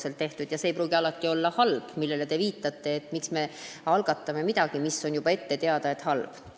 See, millele te viitate, ei pruugi alati olla halb – et miks me algatame midagi, mille puhul on juba ette teada, et see on halb.